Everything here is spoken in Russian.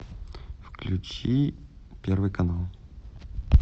включи первый канал